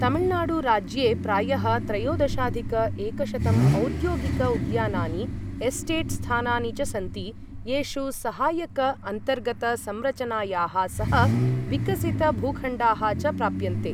तमिल्नाडु राज्ये प्रायः त्रयोदशाधिक एकशतं औद्योगिक उद्यानानि, एस्टेट् स्थानानि च सन्ति, येषु सहायक अन्तर्गत संरचनायाः सह विकसित भूखण्डाः च प्राप्यन्ते।